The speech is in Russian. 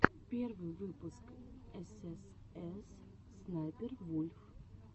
первый выпуск эс эс эс снайпер вульф